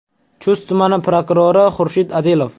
Chust tumani prokurori Xurshid Adilov.